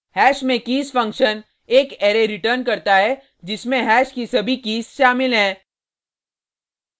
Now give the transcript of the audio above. hash में keys function एक array return करता है जिसमें हैश की सभी कीज़ शामिल हैं